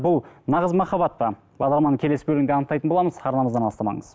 бұл нағыз маххаббат па бағдарламаның келесі бөлімінде анықтайтын боламыз арнамыздан алыстамаңыз